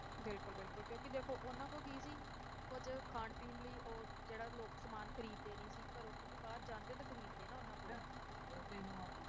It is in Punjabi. ਬਿਲਕੁਲ ਬਿਲਕੁਲ ਕਿਉਂਕਿ ਦੇਖੋ ਉਹਨਾਂ ਕੋਲ ਕੀ ਸੀ, ਕੁੱਝ ਖਾਣ ਪੀਣ ਲਈ ਉਹ ਜਿਹੜਾ ਲੋਕ ਸਮਾਨ ਖ਼ਰੀਦਦੇ ਨੀ ਸੀ, ਘਰੋਂ ਕਿਉਂਕਿ ਬਾਹਰ ਜਾਂਦੇ ਤਾਂ ਖ਼ਰੀਦਦੇ ਨਾ ਉਹਨਾਂ ਕੋਲ